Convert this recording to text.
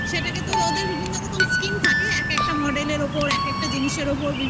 সেটাকে তো ওদের বিভিন্ন রকম skin থাকে, এক একটা model এর ওপর, এক একটা জিনিসের ওপর